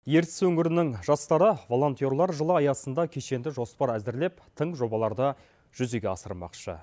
ертіс өңірінің жастары волонтерлар жылы аясында кешенді жоспар әзірлеп тың жобаларды жүзеге асырмақшы